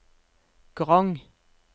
Grong